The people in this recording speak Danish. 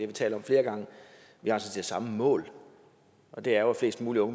vi talt om flere gange samme mål og det er jo at flest mulige